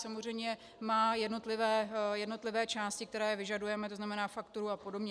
Samozřejmě má jednotlivé části, které vyžadujeme, to znamená fakturu a podobně.